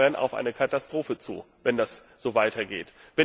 Wir steuern auf eine Katastrophe zu, wenn das so weitergeht.